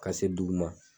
Ka se dugu ma